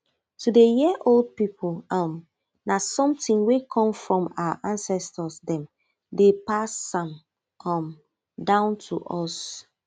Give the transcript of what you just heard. to dey hear old people um na something wey come from our ancestors dem dey pass am um down to us